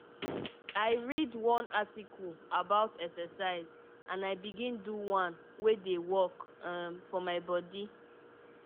i read one article about exercise and i begin do one wey dey work um for my body.